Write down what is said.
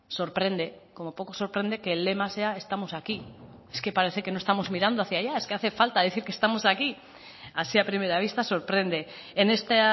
sorprende como poco sorprende que el lema sea estamos aquí es que parece que no estamos mirando hacia allá es que hace falta decir que estamos aquí así a primera vista sorprende en este